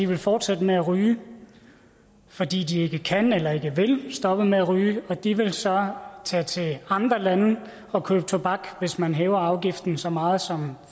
vil fortsætte med at ryge fordi de ikke kan eller ikke vil stoppe med at ryge og de vil så tage til andre lande og købe tobak hvis man hæver afgiften så meget som